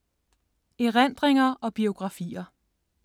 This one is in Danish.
Erindringer og biografier